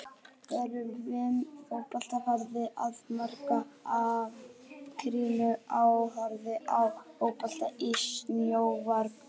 Er umræða um fótbolta farin að markast af gríðarlegu áhorfi á fótbolta í sjónvarpi?